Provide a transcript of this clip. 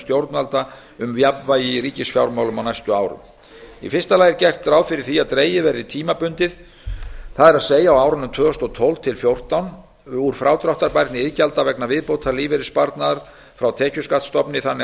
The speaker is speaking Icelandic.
stjórnvalda um jafnvægi í ríkisfjármálum á næstu árum í fyrsta lagi er gert ráð fyrir því að dregið verði tímabundið það er á árunum tvö þúsund og tólf til tvö þúsund og fjórtán úr frádráttarbærni iðgjalda vegna viðbótarlífeyrissparnaðar frá tekjuskattsstofni þannig að